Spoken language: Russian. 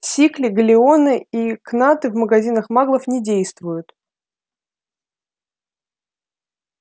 сикли галлеоны и кнаты в магазинах маглов не действуют